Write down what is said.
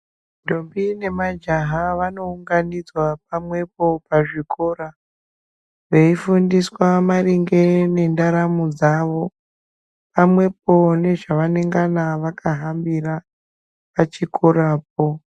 Ndombi nemajaha vanounganidzwa pamwepo pazvikora veifundiswa maringe nendaramo dzawo pamwepo nezvavanenge vakahambira pachikorapo.